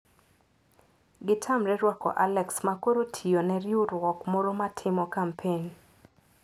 Gitamre ruako Alex ma koro tiyo ne riwruok moro ma timo kampen.